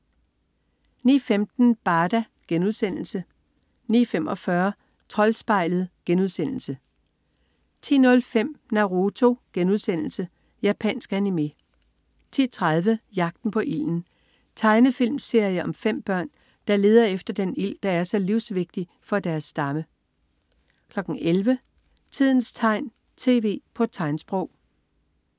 09.15 Barda* 09.45 Troldspejlet* 10.05 Naruto.* Japansk anime 10.30 Jagten på ilden. Tegnefilmserie om 5 børn, der leder efter den ild, der er så livsvigtig for deres stamme 11.00 Tidens tegn, tv på tegnsprog